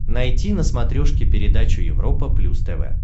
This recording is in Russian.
найти на смотрешке передачу европа плюс тв